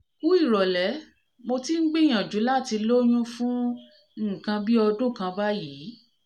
kuh ìrọ̀lẹ́ mo ti ń gbìyànjú láti lóyún fún nǹkan bí ọdún kan báyìí